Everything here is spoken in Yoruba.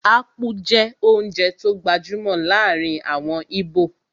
Ápú jẹ́ oúnjẹ tó gbajúmọ̀ láàrin àwọn íbò